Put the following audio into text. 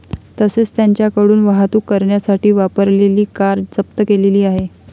तसेच त्यांच्याकडून वाहतूक करण्यासाठी वापरलेली कार जप्त केलेली आहे.